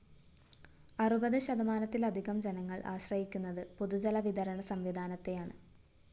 അറുപത് ശതമാനത്തിലധികം ജനങ്ങള്‍ ആശ്രയിക്കുന്നത് പൊതുജലവിതരണ സംവിധാനത്തെയാണ്